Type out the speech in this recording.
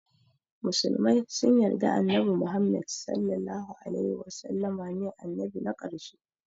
Musulmai sun yarda annabi muhammed (SAW) ne annabi na karshe